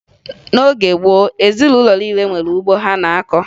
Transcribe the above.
N'oge gboo, ezinụlọ niile nwere ugbo ha na-akọ